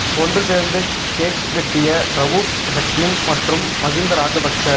ஒன்று சேர்ந்து கேக் வெட்டிய ரவூப் ஹக்கீம் மற்றும் மகிந்த ராஜபக்ச